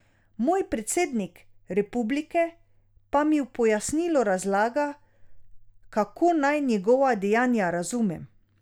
Moj predsednik republike pa mi v pojasnilu razlaga, kako naj njegova dejanja razumem.